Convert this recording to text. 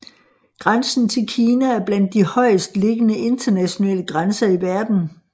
Grænsen til Kina er blandt de højest liggende internationale grænser i verden